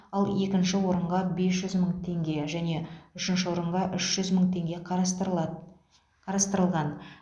ал екінші орынға бес жүз мың теңге және үшінші орынға үш жүз мың теңге қарастырылады қарастырылған